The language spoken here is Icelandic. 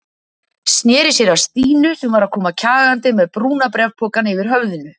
Sneri sér að Stínu sem var að koma kjagandi með brúna bréfpokann yfir höfðinu.